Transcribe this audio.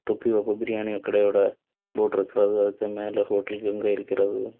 தொப்பி வாப்பா பிரியாணி கடையோட போட்ற ப்றவ்வ இருக்கு மேல ஹோட்டல் கங்கா இருக்கிறது.